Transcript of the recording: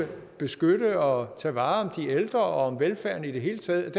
beskytte og tage vare om de ældre og velfærden i det hele taget